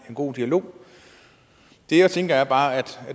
god dialog det jeg tænker er bare at